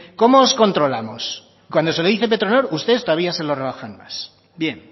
cómo os controlamos cuando se lo dice petronor ustedes todavía se lo rebajan más bien